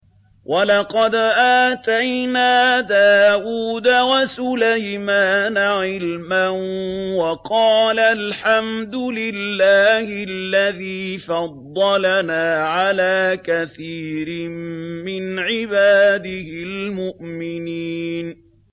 وَلَقَدْ آتَيْنَا دَاوُودَ وَسُلَيْمَانَ عِلْمًا ۖ وَقَالَا الْحَمْدُ لِلَّهِ الَّذِي فَضَّلَنَا عَلَىٰ كَثِيرٍ مِّنْ عِبَادِهِ الْمُؤْمِنِينَ